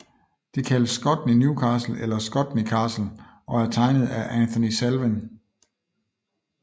Det kaldes Scotney New Castle eller Scotney Castle og er tegnet af Anthony Salvin